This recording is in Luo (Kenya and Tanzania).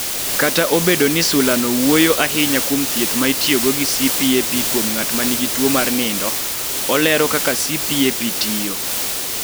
Kata obedo ni sulano wuoyo ahinya kuom thieth ma itiyogo gi CPAP kuom ng�at ma nigi tuo mar nindo, olero kaka CPAP tiyo.